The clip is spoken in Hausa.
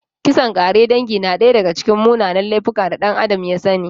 Kisan ƙare dangi na daya daga cikin munanan laifuka da ɗan Adam ya sani.